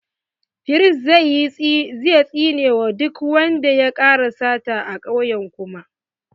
Firist zai tsine wa duk wanda ya ƙara sata a kauye kuma.